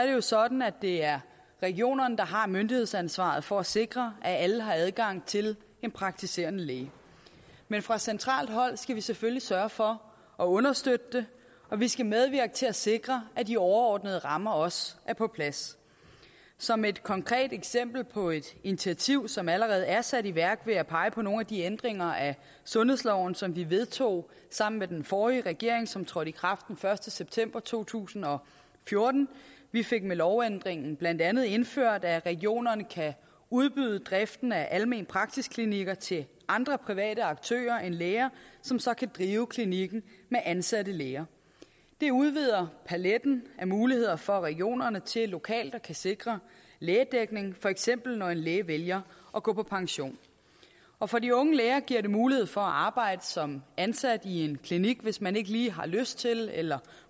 jo er sådan at det er regionerne der har myndighedsansvaret for at sikre at alle har adgang til en praktiserende læge men fra centralt hold skal vi selvfølgelig sørge for at understøtte det og vi skal medvirke til at sikre at de overordnede rammer også er på plads som et konkret eksempel på et initiativ som allerede er sat i værk vil jeg pege på nogle af de ændringer af sundhedsloven som vi vedtog sammen med den forrige regering og som trådte i kraft den første september to tusind og fjorten vi fik med lovændringen blandt andet indført at regionerne kan udbyde driften af almen praksis klinikker til andre private aktører end læger som så kan drive klinikken med ansatte læger det udvider paletten af muligheder for regionerne til lokalt at kunne sikre lægedækning for eksempel når en læge vælger at gå på pension og for de unge læger giver det mulighed for at arbejde som ansat i en klinik hvis man ikke lige har lyst til eller